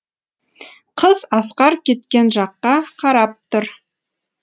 қыз асқар кеткен жаққа қарап тұр